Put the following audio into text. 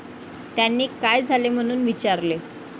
त्यांनी काय झाले म्हणून विचारले.